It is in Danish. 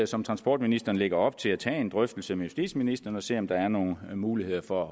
som transportministeren lægger op til at tager en drøftelse med justitsministeren og ser om der er nogle muligheder for